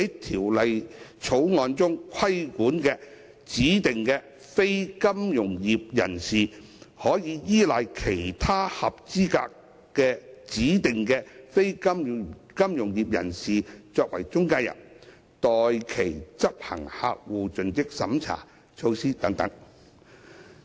《條例草案》中規管的指定非金融業人士，可否依賴其他合資格的指定非金融業人士作為中介人，代其執行客戶盡職審查措施？